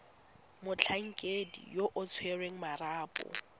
motlhankedi yo o tshwereng marapo